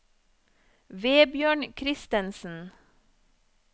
Vebjørn Kristensen